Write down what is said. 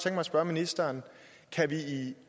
at spørge ministeren kan vi